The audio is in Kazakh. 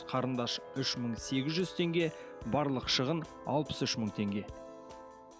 қарындаш үш мың сегіз жүз теңге барлық шығын алпыс үш мың теңге